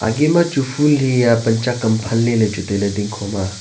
agey machu phool haiya pan chak am phanley lechu tailey dingkho ma.